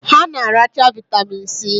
Ha na-aracha vitamin si